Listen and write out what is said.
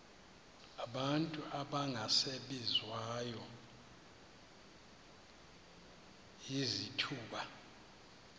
abantu abangasebenziyo izithuba